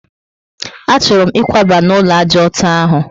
A chọrọ m ikwaba n'ulo ájá ọtọ ahụ